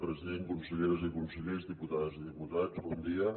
president conselleres i consellers diputades i diputats bon dia